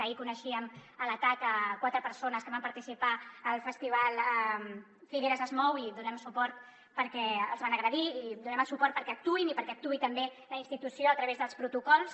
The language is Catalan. ahir coneixíem l’atac a quatre persones que van participar al festival figueres es mou i els donem suport perquè els van agredir i hi donem el suport perquè actuïn i perquè actuï també la institució a través dels protocols